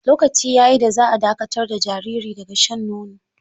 Lokaci ya yi da za a dakatar da jariri daga shan nono.